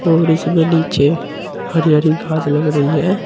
और इसमे नीचे हरी हरी घास लग रही है।